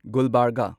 ꯒꯨꯜꯕꯔꯒ